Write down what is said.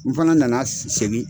N fana nana segin.